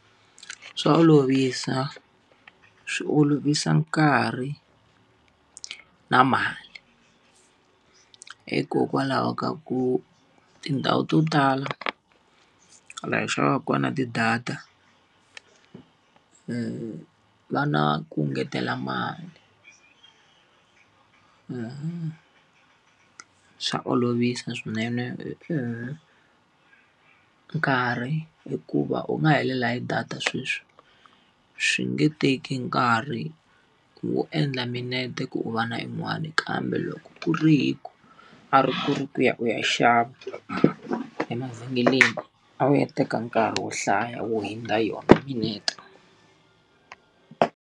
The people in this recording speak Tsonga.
Swa olovisa, swi olovisa nkarhi na mali. Hikokwalaho ka ku tindhawu to tala laha hi xavaka kona ti-data va na ku ngetela mali swa olovisa swinene nkarhi hikuva u nga helela hi data sweswi, swi nge teki nkarhi wo endla minete ku u va na yin'wani kambe loko ku ri hi ku, a ri ku ri ku ya u ya xava emavhengeleni, a wu ya teka nkarhi wo hlaya wo hundza yona minete.